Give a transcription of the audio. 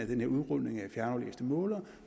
den her udrulning af fjernaflæste målere